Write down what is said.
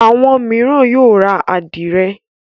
Àwọn mìíràn yóò ra àdìrẹ́.